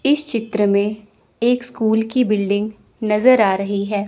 इस चित्र में एक स्कूल की बिल्डिंग नजर आ रही है।